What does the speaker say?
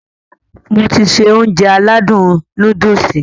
Mo ti se Ounjẹ aládùn nóódùsì